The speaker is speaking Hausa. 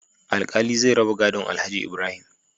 Alkali zai raba gadon alhaji Ibrahim